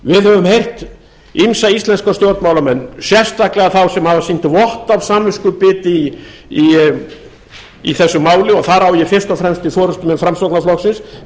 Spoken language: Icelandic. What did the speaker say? við höfum heyrt ýmsa íslenska stjórnmálamenn sérstaklega þá sem hafa sýnt vott af samviskubiti í þessu máli og þar á ég fyrst og fremst við forustumenn framsóknarflokksins